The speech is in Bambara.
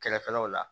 Kɛrɛfɛlaw la